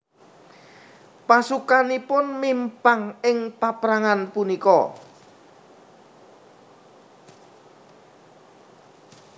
Pasukanipun mimpang ing paprangan punika